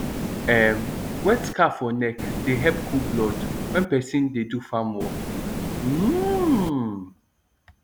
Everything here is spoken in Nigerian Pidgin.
um wet scarf for neck dey help cool blood when person dey do farm work um